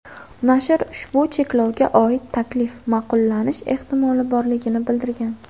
Nashr ushbu cheklovga oid taklif ma’qullanish ehtimoli borligini bildirgan.